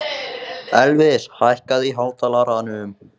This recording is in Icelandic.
Elvis, hækkaðu í hátalaranum.